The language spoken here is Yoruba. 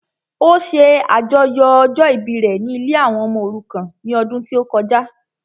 Ó ṣe àjọyọ̀ ọjọ́ ìbí rẹ ní ilée àwọn ọmọ òrukàn ní ọdún tí ó kọjá